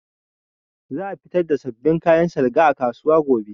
Za a fitar da sabbin kayan salga a kasuwa gobe